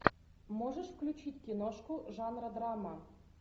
можешь включить киношку жанра драма